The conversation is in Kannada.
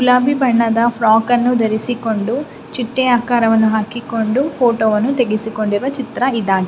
ಗುಲಾಬಿ ಬಣ್ಣದ ಫ್ರೋಕ್ ಅನ್ನು ಧರಿಸಿಕೊಂಡು ಚಿಟ್ಟೆ ಆಕಾರವನ್ನು ಹಾಕಿಕೊಂಡು ಫೋಟೋವನ್ನು ತೆಗಿಸಿಕೊಂಡಿರುವ ಚಿತ್ರ ಇದಾಗಿದೆ.